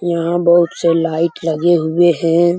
यहाँ बहुत से लाइट लगे हुए हैं।